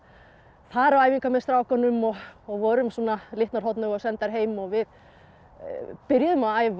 fara á æfingar með strákunum og og vorum svona litnar hornauga og sendar heim og við byrjuðum að æfa